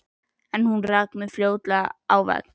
En ég rak mig fljótlega á vegg.